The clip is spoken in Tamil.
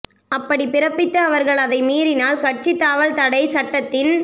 அப்படி பிறப்பித்து அவர்கள் அதை மீறினால் கட்சி தாவல் தடை சட்டத்தின்